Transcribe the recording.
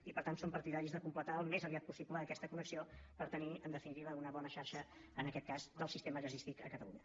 i per tant som partidaris de completar al més aviat possible aquesta connexió per tenir en definitiva una bona xarxa en aquest cas del sistema gasístic a catalunya